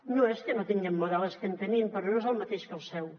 no és que no tinguem model és que en tenim però no és el mateix que el seu